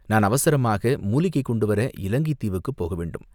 நான் அவசரமாக மூலிகை கொண்டு வர இலங்கைத் தீவுக்குப் போக வேண்டும்.